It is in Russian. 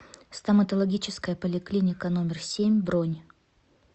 стоматологическая поликлиника номер семь бронь